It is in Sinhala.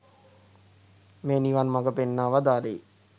මේ නිවන් මග පෙන්වා වදාළේ.